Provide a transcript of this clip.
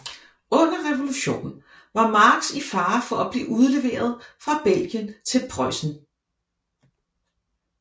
Under revolutionen var Marx i fare for at blive udleveret fra Belgien til Preussen